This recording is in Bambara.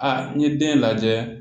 Aa n ye den lajɛ